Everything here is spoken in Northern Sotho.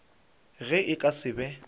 ge e ka se be